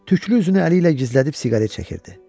Tüklü üzünü əli ilə gizlədib siqaret çəkirdi.